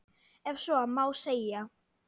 Ef svo má segja.